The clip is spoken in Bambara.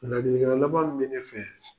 Ladilikan laban mun bɛ ne fɛ.